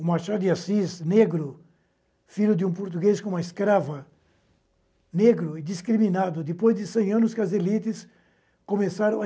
O Machado Assis, negro, filho de um português com uma escrava, negro e discriminado, depois de cem anos que as elites começaram a